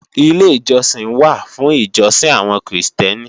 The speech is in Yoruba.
Ilé ìjọsìn wà fún ìjọsìn àwọn Krìstẹ́nì